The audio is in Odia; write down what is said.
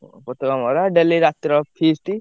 ପତାକା ମରା daily ରାତିରେ feast ।